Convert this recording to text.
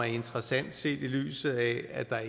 interessante set i lyset af at der